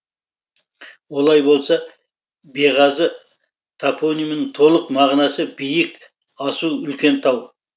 олай болса беғазы топонимінің толық мағынасы биік асу үлкен тау